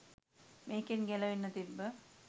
මේකෙන් ගැලවෙන්න තිබ්බ